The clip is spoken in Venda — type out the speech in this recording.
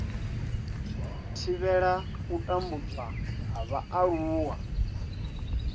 thivhela u tambudzwa ha vhaaluwa